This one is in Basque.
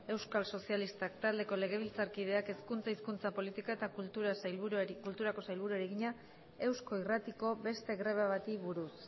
euskal sozialistak taldeko legebiltzarkideak hezkuntza hizkuntza politika eta kulturako sailburuari egina eusko irratiko beste greba bati buruz